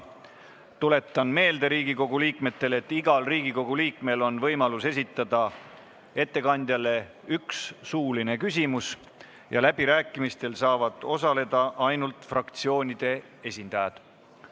Tuletan Riigikogu liikmetele meelde, et igal Riigikogu liikmel on võimalus esitada ettekandjale üks suuline küsimus ja läbirääkimistel saavad osaleda ainult fraktsioonide esindajad.